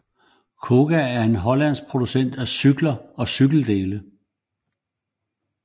KOGA er en hollandsk producent af cykler og cykeldele